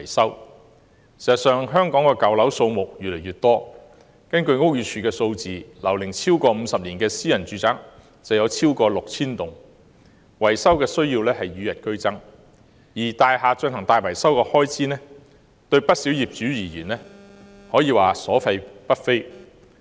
事實上，香港的舊樓數目越來越多，根據屋宇署的數字，樓齡超過50年的私人住宅超過 6,000 幢，維修需要與日俱增，而大廈進行大型維修的開支對不少業主而言可謂所費不菲。